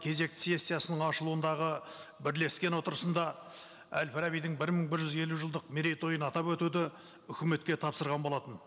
кезекті сессиясының ашылуындағы бірлескен отырысында әл фарабидің бір мың бір жүз елу жылдық мерейтойын атап өтуді үкіметке тапсырған болатын